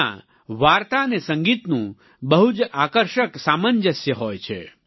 તેમાં વાર્તા અને સંગીતનું બહુ જ આકર્ષક સામંજસ્ય હોય છે